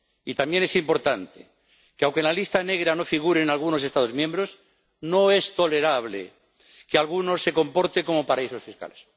Y también cabe resaltar que, aunque en la lista negra no figuren algunos Estados miembros, no es tolerable que algunos se comporten como paraísos fiscales.